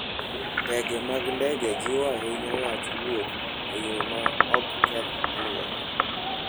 Ndege mag ndege jiwo ahinya wach wuoth e yo ma ok keth alwora.